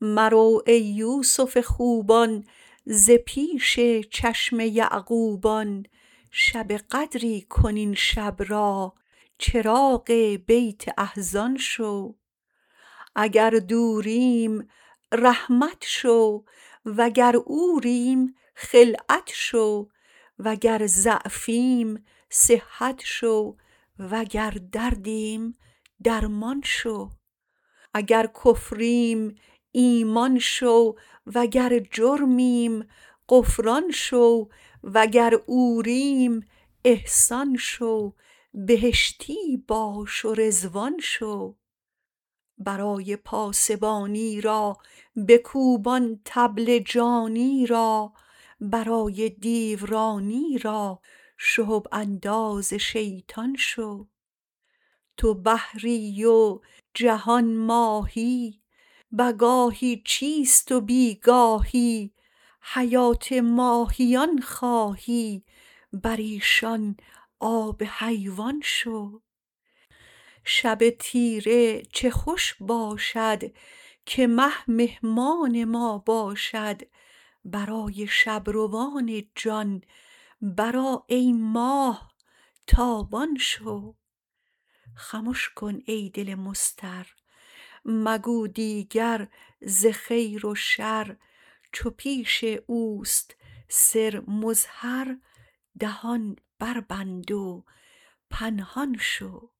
مرو ای یوسف خوبان ز پیش چشم یعقوبان شب قدری کن این شب را چراغ بیت احزان شو اگر دوریم رحمت شو وگر عوریم خلعت شو وگر ضعفیم صحت شو وگر دردیم درمان شو اگر کفریم ایمان شو وگر جرمیم غفران شو وگر عوریم احسان شو بهشتی باش و رضوان شو برای پاسبانی را بکوب آن طبل جانی را برای دیورانی را شهب انداز شیطان شو تو بحری و جهان ماهی به گاهی چیست و بی گاهی حیات ماهیان خواهی بر ایشان آب حیوان شو شب تیره چه خوش باشد که مه مهمان ما باشد برای شب روان جان برآ ای ماه تابان شو خمش کن ای دل مضطر مگو دیگر ز خیر و شر چو پیش او است سر مظهر دهان بربند و پنهان شو